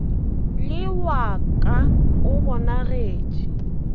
le wa ka o bonagetše